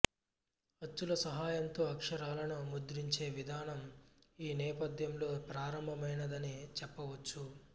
అచ్చుల సహాయంతో అక్షరాలను ముద్రించే విధానం ఈ నేపథ్యంలో ప్రారంభమైనదని చెప్పవచ్చు